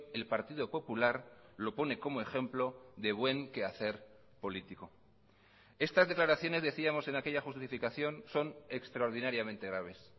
el partido popular lo pone como ejemplo de buen quehacer político estas declaraciones decíamos en aquella justificación son extraordinariamente graves